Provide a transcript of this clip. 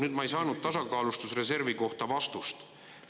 Nüüd ma ei saanud tasakaalustusreservi kohta vastust.